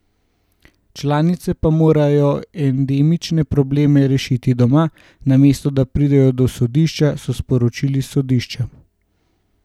Članice pa morajo endemične probleme rešiti doma, namesto da pridejo do sodišča, so sporočili s sodišča.